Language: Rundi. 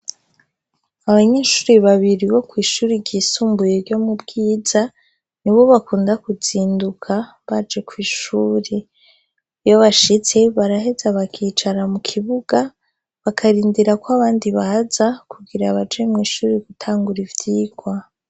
Abanyeshure babiri bo kw'ishure ryisumbuye ryo mu Bwiza nibo bakunda kuzinduka baje kw'ishure iyo bashitse baraheza bakicara mu kibuga bakarindira ko abandi baza kugira baje mw'ishure gutangura ivyigwa.